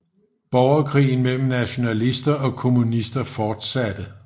Borgerkrigen mellem nationalister og kommunister fortsatte